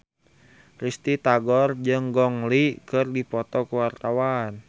Risty Tagor jeung Gong Li keur dipoto ku wartawan